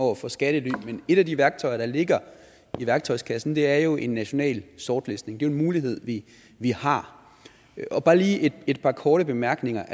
over for skattely men et af de værktøjer der ligger i værktøjskassen er jo en national sortlistning jo en mulighed vi har bare lige et par korte bemærkninger